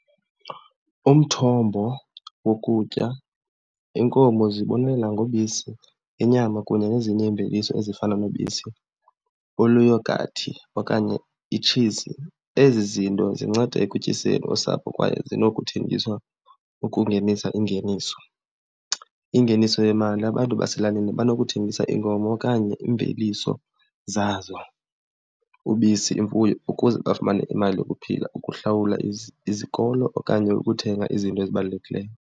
Umthombo wokutya, iinkomo zibonelela ngobisi, inyama kunye nezinye iimveliso ezifana nobisi oluyogathi okanye itshizi. Ezi zinto zinceda ekutyiseni usapho kwaye zinokuthengiswa ukungenisa ingeniso. Ingeniso yemali, abantu baselalini banokuthengisa iinkomo okanye iimveliso zazo, ubisi, imfuyo ukuze bafumane imali yokuphila ukuhlawula izikolo okanye uthenga izinto ezibalulekileyo.